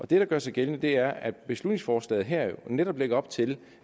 det der gør sig gældende er at beslutningsforslaget her netop lægger op til